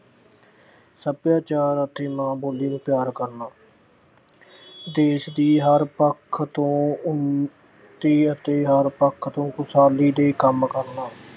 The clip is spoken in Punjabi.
ਸੱਭਿਆਚਾਰ ਅਤੇ ਮਾਂ ਬੋਲੀ ਨੂੰ ਪਿਆਰ ਕਰਨਾ ਦੇਸ਼ ਦੇ ਹਰ ਪੱਖ ਤੋਂ ਉੱਨਤੀ ਅਤੇ ਹਰ ਪੱਖ ਤੋਂ ਖੁਸ਼ਹਾਲੀ ਦੇ ਕੰਮ ਕਰਨਾ।